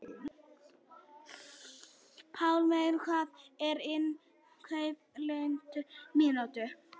Pálmey, hvað er á innkaupalistanum mínum?